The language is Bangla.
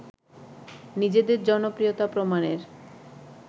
নিজেদের জনপ্রিয়তা প্রমাণের